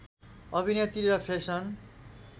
अभिनेत्री र फेसन